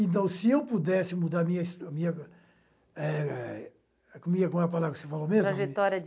Então, se eu pudesse mudar a minha a minha eh, a minha... Como é a palavra que você falou mesmo? Trajetória de